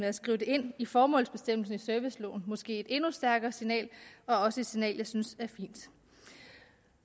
at skrive det ind i formålsbestemmelsen i serviceloven måske et endnu stærkere signal og også et signal jeg synes